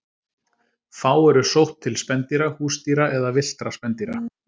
Fá eru sótt til spendýra, húsdýra eða villtra spendýra.